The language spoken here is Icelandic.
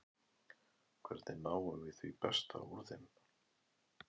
Hvernig náum við því besta úr þeim?